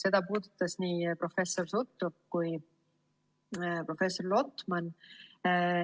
Seda puudutas nii professor Sutrop kui ka professor Lotman.